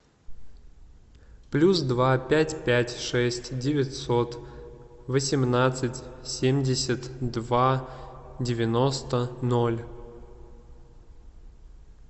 плюс два пять пять шесть девятьсот восемнадцать семьдесят два девяносто ноль